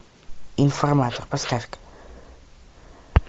информатор поставь ка